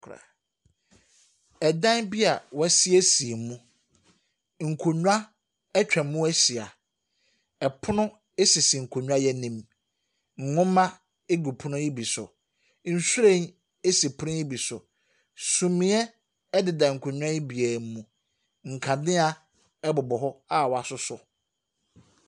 Kora…ɛdan bi a wɔasiesie mu, nkonnwa atwa mu ahyia. Ɛpono sisi nkonnwa yi anim. Nwoma gu pono yi bi so. Nhwiren si pono yi bi so. Sumiiɛ deda nkonnwa yi biara mu. Nkanea bobɔ hɔ a wɔasosɔ.